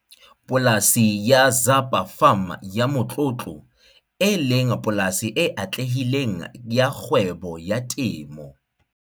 Polasi ya Zapa Farm ya motlotlo, e leng polasi e atlehileng ya kgwebo ya temo.